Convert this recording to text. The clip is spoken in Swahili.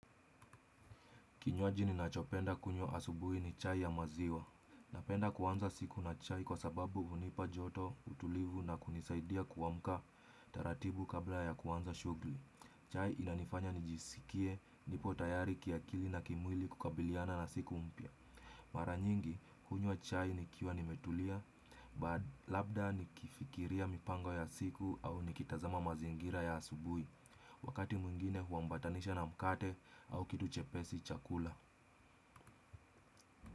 Kinywaji ninachopenda kunywa asubuhi ni chai ya maziwa. Napenda kuanza siku na chai kwa sababu hunipa joto, utulivu na kunisaidia kuamka taratibu kabla ya kuanza shughuli. Chai inanifanya nijisikie, nipo tayari kiakili na kimwili kukabiliana na siku mpya. Mara nyingi, hunywa chai nikiwa nimetulia, labda nikifikiria mipango ya siku au nikitazama mazingira ya asubuhi. Wakati mwingine huambatanisha na mkate au kitu chepesi cha kula.